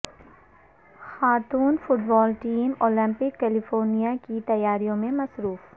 خاتون football team Olympic qualifier کی تیاریوں میں مصروف